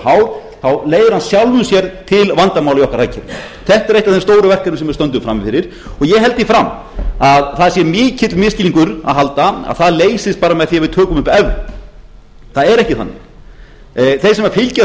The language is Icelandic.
hár leiðir af sjálfu sér til vandamála í okkar hagkerfi þetta er eitt af þeim stóru verkefnum sem við stöndum frammi fyrir og ég held því fram að það sé mikill misskilningur að halda að það leysist bara með því að við tökum upp evru það er ekki þannig þeir sem fylgjast